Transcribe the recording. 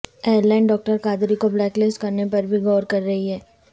air line doctor Qadri کو blacklist کرنے پر بھی غور کر رہی ہے